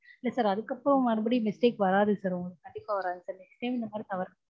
இல்ல sir அதுக்கப்புறம் மறுபடியும் mistake வராது sir உங்களுக்கு கண்டிப்பா வராது sir next time இந்த மாதிரி தவறு.